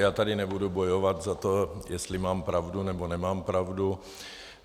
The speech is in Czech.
Já tady nebudu bojovat za to, jestli mám pravdu, nebo nemám pravdu.